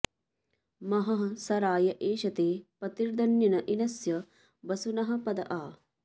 महः स राय एषते पतिर्दन्निन इनस्य वसुनः पद आ